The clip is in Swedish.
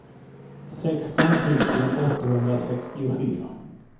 sexton tusen åttahundrasextiofyra